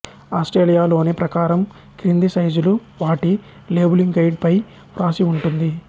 ఆస్ట్రేలియాలోని ప్రకారం క్రింది సైజులు వాటి లేబులింగ్ గైడ్ పై వ్రాసి వుంటుంది